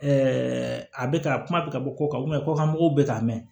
a bɛ ka kuma bɛ ka bɔ kɔ kan kɔkan mɔgɔw bɛ ka mɛɛn